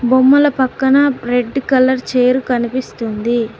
బొమ్మల పక్కన red colour chair కనిపిస్తుంది.